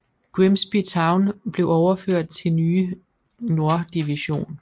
Grimsby Town blev overført til nye norddivision